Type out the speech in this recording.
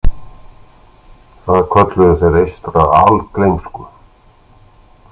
Það kölluðu þeir eystra algleymsku.